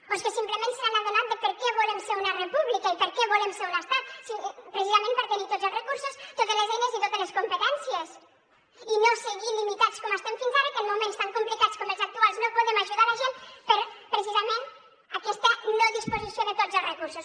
o és que simplement s’han adonat de per què volem ser una república i per què volem ser un estat precisament per tenir tots els recursos totes les eines i totes les competències i no seguir limitats com ho estem fins ara que en moments tan complicats com els actuals no podem ajudar la gent per precisament aquesta no disposició de tots els recursos